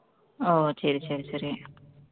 ஓ சரி சரி சரி